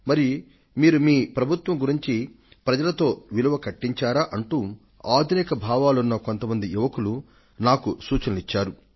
మరి మీరు మీ ప్రభుత్వం గురించి ప్రజలతో విలువ కట్టించారా అంటూ ఆధునిక భావాలున్న కొంత మంది యువకులు నాకు సూచనలిచ్చారు